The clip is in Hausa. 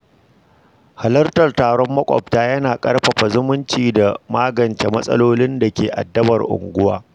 Halarar taron makwabta yana ƙarfafa zumunci da magance matsalolin da ke addabar unguwa.